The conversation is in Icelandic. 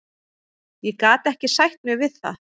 Ég gat ekki sætt mig við það.